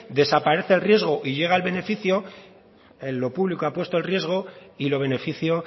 desaparece el riesgo y llega el beneficio lo público ha puesto el riesgo y lo beneficio